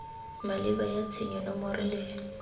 maleba ya tshenyo nomoro le